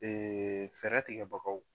fɛɛrɛ tigɛ bagaw